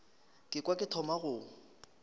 ka kwa ke thoma go